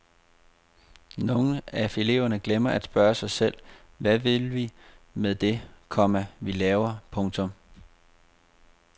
Nogle af eleverne glemmer at spørge sig selv hvad vi vil med det, komma vi laver. punktum